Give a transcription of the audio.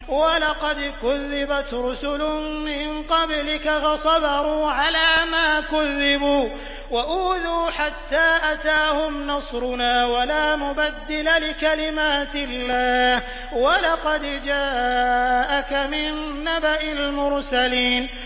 وَلَقَدْ كُذِّبَتْ رُسُلٌ مِّن قَبْلِكَ فَصَبَرُوا عَلَىٰ مَا كُذِّبُوا وَأُوذُوا حَتَّىٰ أَتَاهُمْ نَصْرُنَا ۚ وَلَا مُبَدِّلَ لِكَلِمَاتِ اللَّهِ ۚ وَلَقَدْ جَاءَكَ مِن نَّبَإِ الْمُرْسَلِينَ